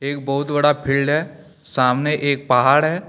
एक बहुत बड़ा पेड़ है सामने एक पहाड़ है।